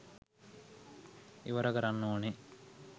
ඉවර කරන්න ඕනේ.